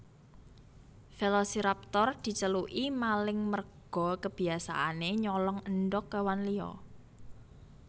Velociraptor diceluki maling merga kebiasaanè nyolong endhog kèwan liya